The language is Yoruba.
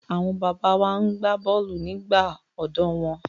Àwọn bàbá wa na gbá bọ́ọ̀lù nígbà ọ̀dọ́ wọn.